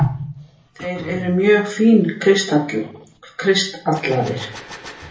Þeir eru mjög fínkristallaðir.